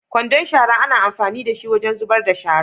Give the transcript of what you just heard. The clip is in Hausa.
kwandon shara ana amfani dashi wajen zubar da shara.